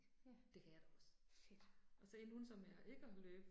Ja, fedt